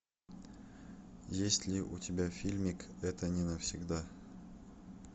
есть ли у тебя фильмик это не навсегда